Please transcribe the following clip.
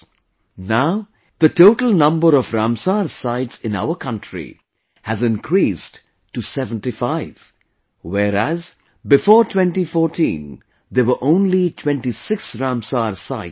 Now the total number of Ramsar Sites in our country has increased to 75, whereas, before 2014 there were only 26 Ramsar Sites in the country